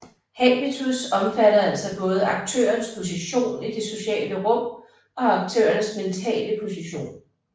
Habitus sammenfatter altså både aktørens position i det sociale rum og aktørens mentale position